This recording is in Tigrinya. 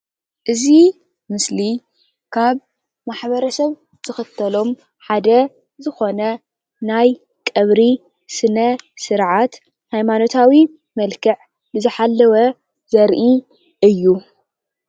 እዚ ምስሊ ካብ ማሕበር ሰብ ዝክትሎም ሓደ ዝኾነ ናይ ቀብሪ ስነ ስርዓት ሃይማኖታዊ መልክዕ ዝሓለወ ዘራኢ እዩ።